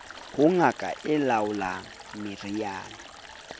ho ngaka e laolang meriana